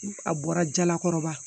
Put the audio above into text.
A bɔra jalakɔrɔba